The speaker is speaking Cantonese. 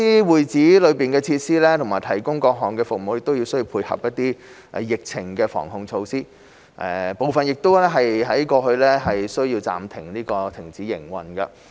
會址內的設施和提供的各類服務，亦需要配合疫情防控措施，部分過去需要暫時停止營運。